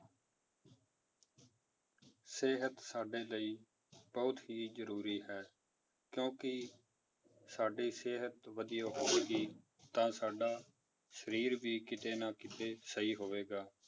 ਸਿਹਤ ਸਾਡੇ ਲਈ ਬਹੁਤ ਹੀ ਜ਼ਰੂਰੀ ਹੈ ਕਿਉਂਕਿ ਸਾਡੀ ਸਿਹਤ ਵਧੀਆ ਹੋਵੇਗੀ ਤਾਂ ਸਾਡਾ ਸਰੀਰ ਵੀ ਕਿਤੇ ਨਾ ਕਿਤੇ ਸਹੀ ਹੋਵੇਗਾ